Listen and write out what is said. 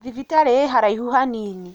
Thibitarĩĩharaihu hanini.